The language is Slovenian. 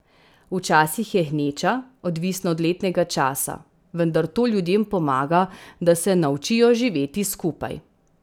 Včasih je gneča, odvisno od letnega časa, vendar to ljudem pomaga, da se naučijo živeti skupaj.